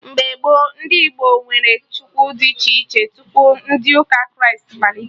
Mgbe gboo, ndị Igbo nwere Chukwu dị iche iche, tupu ndị ụka Kraịst malite